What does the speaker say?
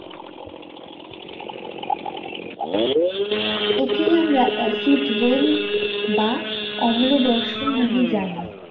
একেই আমরা acid rain বা অম্ল বর্ষণ নামে জানি।